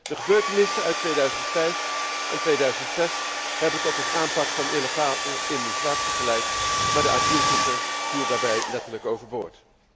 De gebeurtenissen uit 2005 en 2006 hebben tot een aanpak van illegale immigratie geleid, maar de asielzoeker viel daarbij letterlijk overboord.